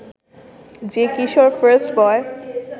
যে কিশোর ফার্স্টবয়